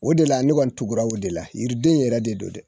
O de la ne kɔni tugula o de la yiriden yɛrɛ de don dɛ